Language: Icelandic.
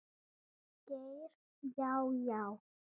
Geir Já, já.